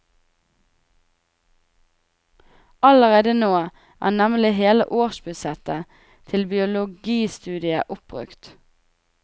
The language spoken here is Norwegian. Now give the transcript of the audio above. Allerede nå er nemlig hele årsbudsjettet til biologistudiet oppbrukt.